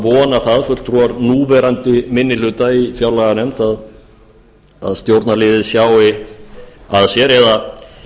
vona það fulltrúar núverandi minni hluta í fjárlaganefnd að stjórnarliðið sjái að sér eða